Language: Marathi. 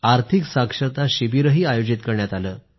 आर्थिक साक्षरता कॅम्प लावले